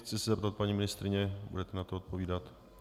Chci se zeptat paní ministryně: Budete na to odpovídat?